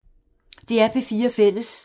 DR P4 Fælles